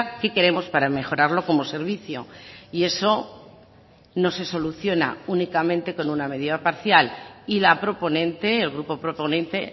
que queremos para mejorarlo como servicio y eso no se soluciona únicamente con una medida parcial y la proponente el grupo proponente